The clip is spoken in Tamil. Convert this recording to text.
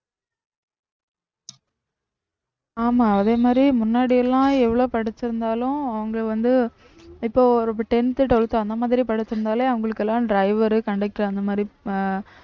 ஆமா அதே மாதிரி முன்னாடி எல்லாம் எவ்வளவு படிச்சிருந்தாலும் அவுங்க வந்து இப்போ tenth, twelfth அந்த மாதிரி படிச்சிருந்தாலே அவுங்களுக்கு எல்லாம் driver, conductor அந்த மாதிரி அஹ்